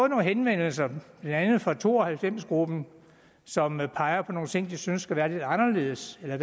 nogle henvendelser blandt andet fra to og halvfems gruppen som peger på nogle ting som de synes skal være lidt anderledes eller